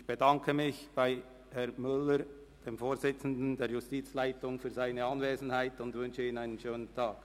Ich bedanke mich bei Herrn Müller, dem Vorsitzenden der Justizleitung, für seine Anwesenheit und wünsche ihm einen schönen Tag.